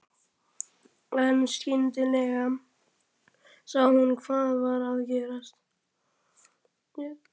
En skyndilega sá hún hvað var að gerast.